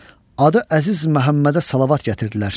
Adı Əziz Məhəmmədə salavat gətirdilər.